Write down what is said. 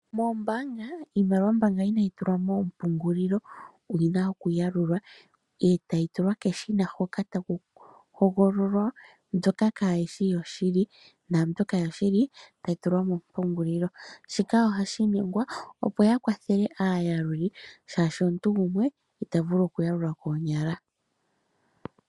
Moombaanga, iimaliwa manga inaayi tulwa moompungulilo, oyina okuyalulwa e tayi tulwa keshina hoka taku hogololwa mbyoka kaayishi yoshili, naambyoka yoshili tayi tulwa moompungulilo. Shika ohashi ningwa opo ya kwathele aayaluli, shaashi aantu yamwe ihaya vulu okuyalula koonyala.